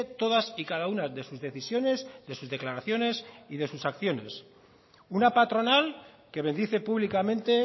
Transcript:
todas y cada una de sus decisiones de sus declaraciones y de sus acciones una patronal que bendice públicamente